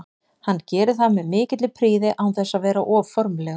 Hann gerir það með mikilli prýði án þess að vera of formlegur.